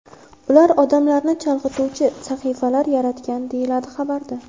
Ular odamlarni chalg‘ituvchi sahifalar yaratgan”, deyiladi xabarda.